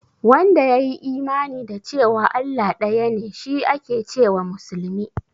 Wanda ya yi imani da cewa Allah ɗaya ne shi ake ce wa musulmi?